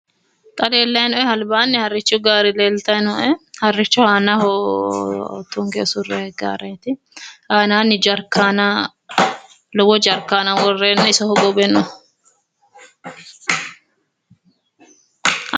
Xa leellannoehu albaanni harrichu gaare leeltay nooe harricho aanaho tunge ofollanni usurray gaareeti, aananni jarkaana lowo jarakaana iso hogowe no